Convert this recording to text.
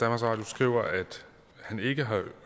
radio skriver at han ikke har